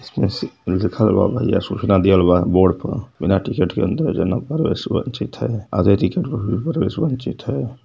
इसमें सी लिखल बा भईया सूचना दिहल बा बोर्ड प । बिना के अंदर जाना परवेश वंचित है। आदे टिकट पर भी परवेश वंचित है।